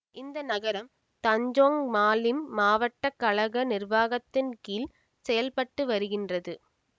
இந்த நகரம் Tanjung Malim மாவட்ட கழக நிர்வாகத்தின் கீழ் செயல் பட்டு வருகின்றது